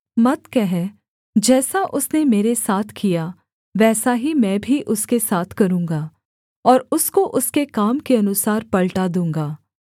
मत कह जैसा उसने मेरे साथ किया वैसा ही मैं भी उसके साथ करूँगा और उसको उसके काम के अनुसार पलटा दूँगा